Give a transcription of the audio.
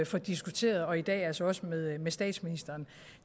få diskuteret og i dag altså også med med statsministeren